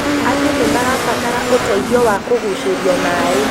Andũ nĩ marabatara ũteithio wa kũgucĩrio maaĩ